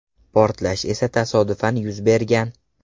Portlash esa tasodifan yuz bergan.